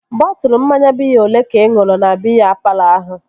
Bọtụlu mmanya biya olee ka ị ṅụrụ na biya palọ ahụ?